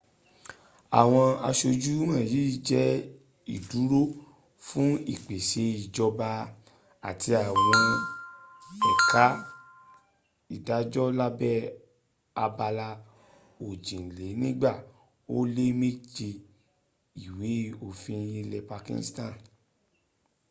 àwọn asojú wọ̀nyí jẹ́ ìdúró fún ìpèse ìjọba àti àwọn ẹka ìdájọ́ lábẹ́ abala òjìlénígba ó lé méje ìwé òfin ilẹ̀ pakistan